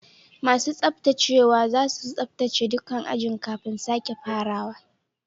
Masun tsabtacewa zasu tsabtace dukan ajin kafin sake farawa.